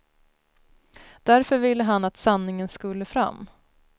Därför ville han att sanningen skulle fram.